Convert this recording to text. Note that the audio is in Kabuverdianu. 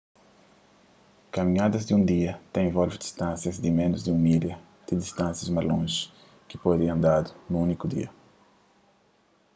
kaminhadas di un dia ta involve distánsias di ménus di un milha ti distânsias más lonji ki pode ser andadu nun úniku dia